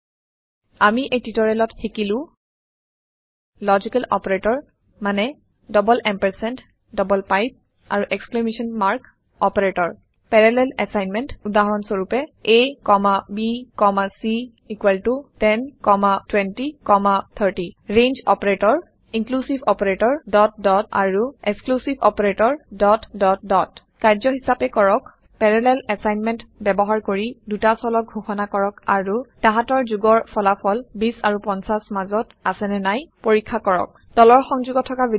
আমি এই টিওটৰিয়েলত শিকিলো লজিকেল অপাৰেটৰ মানে ডাবল এম্পাৰচেণ্ড ডাবল পাইপ আৰু exclamation mark operators parallel assignment উদাহৰন হিচাবে abc102030 range operator inclusive operator আৰু এক্সক্লুচিভ operator কাৰ্য্য হিচাবে কৰক পেৰালেল এছাইনমেণ্ট ব্যৱহাৰ কৰি দুটা চলক ঘোষনা কৰক আৰু তাহাতৰ যোগৰ ফলাফল ২০ আৰু ৫০ মাজত আছে নে নাই পৰীক্ষা কৰক তলৰ সংযোগত থকা ভিদিয়তো চাওক